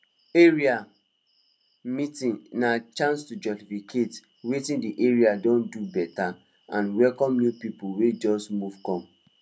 area meeting na chance to jollificate wetin di area don do beta and welcome new people wey just move come